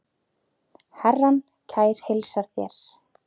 Herrann kær heilsar þér.